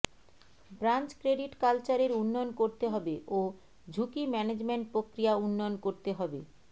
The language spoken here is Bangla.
ব্রাঞ্চ ক্রেডিট কালচার এর উন্নয়ন করতে হবে ও ঝুকি ম্যানেজমেন্ট প্রক্রিয়া উন্নয়ন করতে হবে